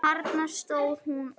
Þarna stóð hún og.